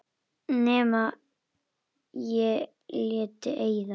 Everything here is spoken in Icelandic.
Nema ég léti eyða.